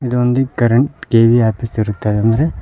ಇದೊಂದು current KEB office ಇರುತ್ತದೆ ಅಂದ್ರೆ--